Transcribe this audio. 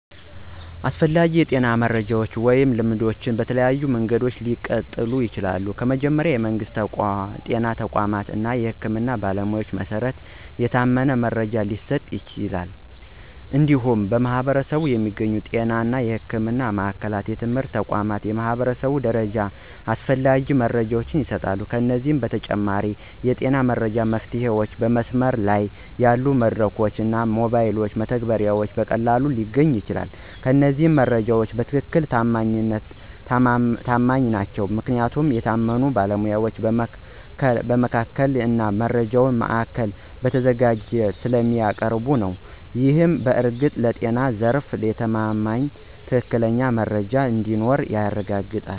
አስፈላጊ የጤና መረጃዎች ወይም ልማዶች በተለያዩ መንገዶች ሊቀጥሉ ይችላሉ። ከመጀመሪያ፣ የመንግስት ጤና ተቋማት እና የህክምና ባለሞያዎች በመሰረት የታመነ መረጃ ሊሰጡ ይችላሉ። እንዲሁም በማኅበረሰብ የሚገኙ ጤና እና ሕክምና ማዕከላት፣ የትምህርት ተቋማት እና የህብረተሰብ ድርጅቶች ያስፈላጊ መረጃ ይሰጣሉ። ከዚህ በተጨማሪ፣ የጤና መረጃ መፍትሄዎችን በመስመር ላይ ያሉ መድረኮች እና ሞባይል መተግበሪያዎች በቀላሉ ሊገኙ ይችላሉ። እነዚህ መረጃዎች በትክክል ተማማኝ ናቸው ምክንያቱም የታመኑ ባለሞያዎች በማስተካከል እና በመረጃ ማዕከላት ተዘጋጅተው ስለሚያቀርቡ ነው። ይህ በእርግጥ ለጤና ዘርፍ የተማማኝና ትክክለኛ መረጃ እንዲኖር ያረጋግጣል።